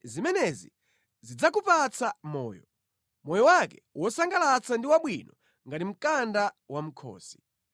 Zimenezi zidzakupatsa moyo, moyo wake wosangalatsa ndi wabwino ngati mkanda wa mʼkhosi.